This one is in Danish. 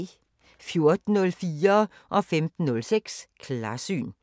14:04: Klarsyn 15:06: Klarsyn